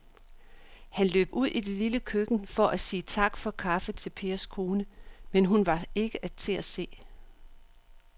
Han løb ud i det lille køkken for at sige tak for kaffe til Pers kone, men hun var ikke til at se.